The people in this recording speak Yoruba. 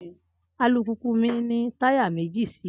Alùpùpù mi ní táyà méjì sí i